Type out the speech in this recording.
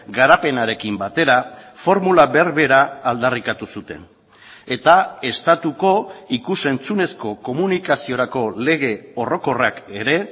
garapenarekin batera formula berbera aldarrikatu zuten eta estatuko ikus entzunezko komunikaziorako lege orokorrak ere